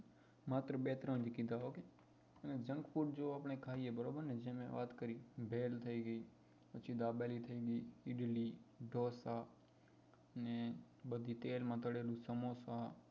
માત્ર બે ત્રણ કીધા ok junk food જો આપડે ખાઈએ બરોબર ને જે મેં વાત કરી ભેળ થઇ ગઈ પછી દાબેલી થઇ ગઈ ઈડલી ઢોસા અને બધી તેલમાં તળેલી સમોસા